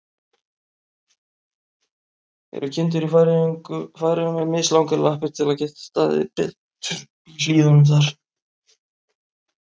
Eru kindur í Færeyjum með mislangar lappir, til að geta staðið betur í hlíðunum þar?